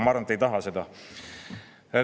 Ma arvan, et te ei taha seda.